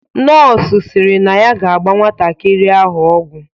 Nọọsụ sịrị na ya ga-agba nwatakịrị ahụ ọgwụ.